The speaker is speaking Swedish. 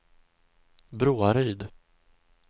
Broaryd